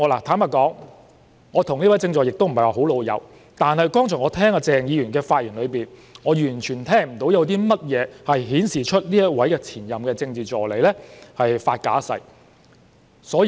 坦白說，我與這位政治助理不是太"老友"，但我剛才從鄭議員的發言中，完全聽不到有任何跡象顯示這位前任政治助理發假誓。